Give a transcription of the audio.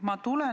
Aitäh!